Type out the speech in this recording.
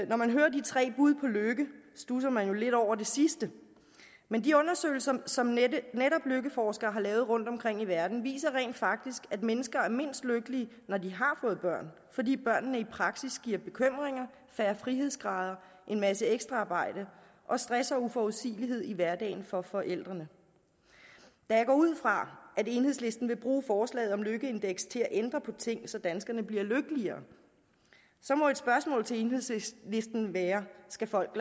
når man hører de tre bud på lykke studser man jo lidt over det sidste men de undersøgelser som netop lykkeforskere har lavet rundtomkring i verden viser rent faktisk at mennesker er mindst lykkelige når de har fået børn fordi børnene i praksis giver bekymringer færre frihedsgrader en masse ekstraarbejde og stress og uforudsigelighed i hverdagen for forældrene da jeg går ud fra at enhedslisten vil bruge forslaget om lykkeindeks til at ændre på ting så danskerne bliver lykkeligere må et spørgsmål til enhedslisten være skal folk